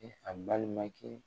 E fa balimakɛ